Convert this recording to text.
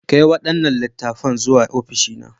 Kai waɗannan littattafan zuwa ofishi na.